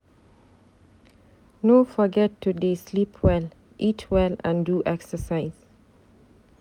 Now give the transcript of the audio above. No forget to dey sleep well, eat well and do excercise.